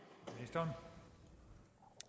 der er